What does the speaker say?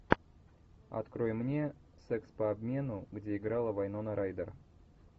открой мне секс по обмену где играла вайнона райдер